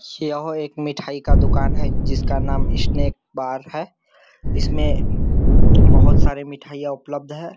यह एक मिठाई का दुकान है जिसका नाम स्नैक बार है इसमें बहुत सारे मिठाइयाँ उपलब्ध है।